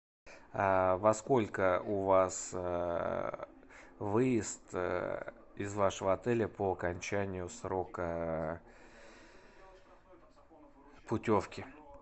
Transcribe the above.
во сколько у вас выезд из вашего отеля по окончанию срока путевки